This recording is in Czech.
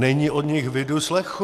Není po nich vidu, slechu.